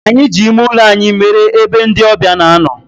Anyi ji ime ulo anyi mere ebe ndi obia na-ano.